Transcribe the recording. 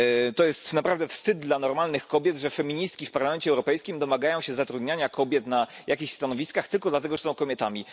To jest naprawdę wstyd dla normalnych kobiet, że feministki w Parlamencie Europejskim domagają się zatrudniania kobiet na jakichś stanowiskach tylko dlatego, że są kobietami.